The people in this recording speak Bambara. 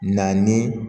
Na ni